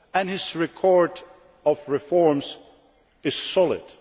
His record of reforms is solid.